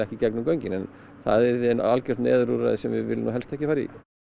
í gegnum göngin en það yrði algjört neyðarúrræði sem við viljum nú helst ekki fara í